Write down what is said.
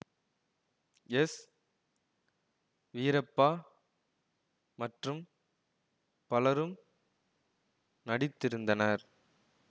S Veerappa மற்றும் பலரும் நடித்திருந்தனர்